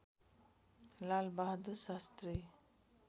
Lal Bahadur Shastri